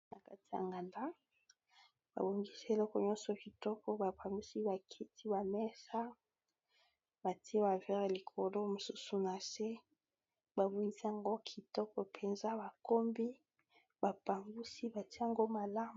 Na nganda, babongisi eleko nyonso kitoko ! Ba pangusi bakiti, bamesa, batie bavere likolo mosusu na se. Ba bongisi yango kitoko mpenza ! Bakombi, bapangusi batie yango malamu.